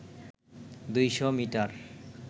২০০ metre